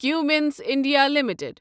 Cummins India limited